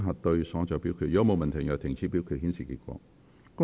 如果沒有問題，現在停止表決，顯示結果。